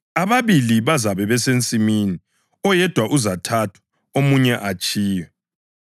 Ababili bazabe besensimini; oyedwa uzathathwa omunye atshiywe.] ”+ 17.36 Livesi kayikho kwamanye amaBhayibhili esiLungu.